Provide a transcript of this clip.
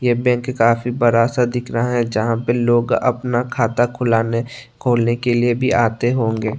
ये बैंक काफी बड़ा सा दिख रहा है जहां पे लोग अपना खाता खुलाने खोलने के लिए भी आते होंगे।